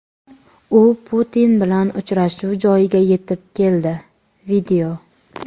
U Putin bilan uchrashuv joyiga yetib keldi.